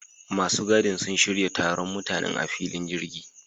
Masu gadin sun shirya taron mutanen a filin jirgin